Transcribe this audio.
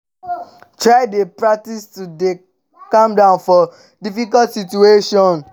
try de practice to de dey calm for difficult situations